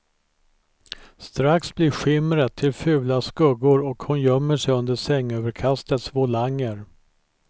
Strax blir skimret till fula skuggor och hon gömmer sig under sängöverkastets volanger.